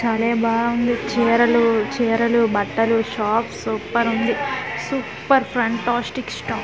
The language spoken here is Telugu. బలే బావుంది చీరలు-చీరలు బట్టలు షాప్ సూపరుంది సూపర్ ఫెంటాస్టిక్ స్టాక్ .